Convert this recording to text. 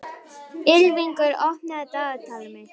Ylfingur, opnaðu dagatalið mitt.